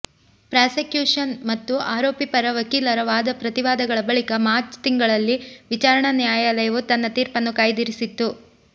prosecution ಮತ್ತು ಆರೋಪಿ ಪರ ವಕೀಲರ ವಾದ ಪ್ರತಿವಾದಗಳ ಬಳಿಕ ಮಾಚ್ ತಿಂಗಳಲ್ಲಿ ವಿಚಾರಣಾ ನ್ಯಾಯಾಲಯವು ತನ್ನ ತೀರ್ಪನ್ನು ಕಾಯ್ದಿರಿಸಿತ್ತು